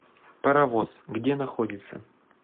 паровоз где находится